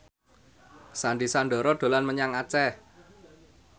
Sandy Sandoro dolan menyang Aceh